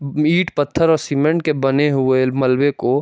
ईट पत्थर और सीमेंट के बने हुए मलवे को--